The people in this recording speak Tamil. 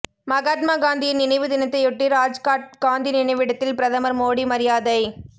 மகாத்மா காந்தியின் நினைவு தினத்தையொட்டி ராஜ்காட் காந்தி நினைவிடத்தில் பிரதமர் மோடி மரியாதை